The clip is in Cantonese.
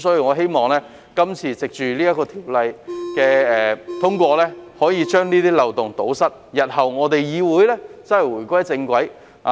我希望藉着通過這項法案，能夠堵塞漏洞，讓議會日後真正回歸正軌。